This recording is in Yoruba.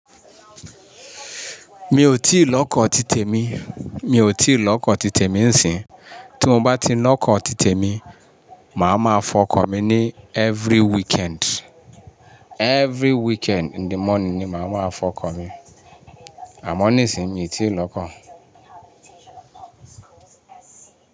Mi ò tíì lọkọ́ títè mi, mi ò tíì lọkọ́ títè mi ń sìn. Tí mo bá ti lọkọ́ títè mi, màá ma fọkọ mi ní every weekend. Every weekend in the morning ni màá ma fọkọ mi. Àmọ́ nísìín mi ò tíì lọ kọ́